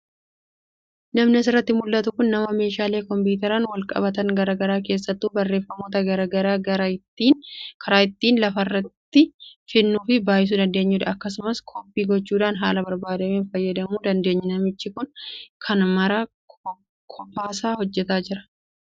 Namni asirraa mul'atu kun nama meeshaalee kompiitaraan wal qabatan garaagaraa keessattuu barreeffamoota garaagaraa karaa ittiin lafarratti fidnuu fi baay'isuu dandeenyudha. Akkasumas koppii gochuudhaan haala barbaadneen fayyadamuu dandeenya. Namichi kun kana maraa kophaasaa hojjataa jira.